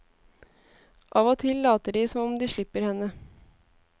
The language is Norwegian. Av og til later de som om de slipper henne.